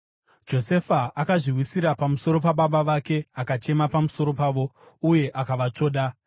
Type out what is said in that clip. Josefa akazviwisira pamusoro pababa vake akachema pamusoro pavo uye akavatsvoda.